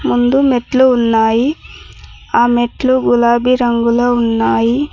ముందు మెట్లు ఉన్నాయి ఆ మెట్లు గులాబి రంగులో ఉన్నాయి.